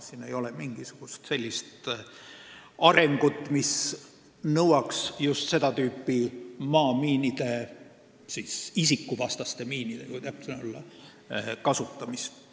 Siin ei ole mingisugust sellist arengut, mis nõuaks just seda tüüpi maamiinide – isikuvastaste miinide, kui täpne olla – kasutamist.